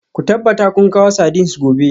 Ku tabbata kun kawo sardines gobe